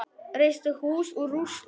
Reisti hús úr rústum.